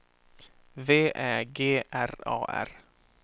V Ä G R A R